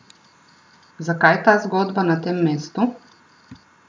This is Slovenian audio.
Zakaj ta zgodba na tem mestu?